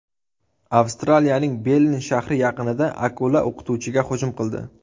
Avstraliyaning Bellin shahri yaqinida akula o‘qituvchiga hujum qildi.